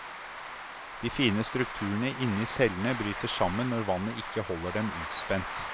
De fine strukturene inni cellene bryter sammen når vannet ikke holder dem utspent.